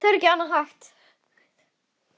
Það er ekki annað hægt.